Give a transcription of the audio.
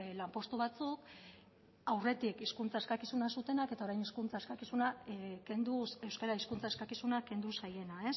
lanpostu batzuk aurretik hizkuntza eskakizuna zutenak eta orain euskara hizkuntza eskakizuna kendu zaiena